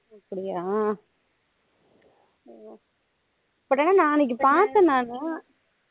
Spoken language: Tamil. அப்படியா but ஆனா நா அன்னைக்கு பாத்தேன் நானு